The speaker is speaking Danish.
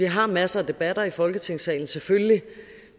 har masser af debatter i folketingssalen selvfølgelig